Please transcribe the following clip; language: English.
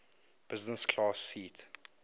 business class seat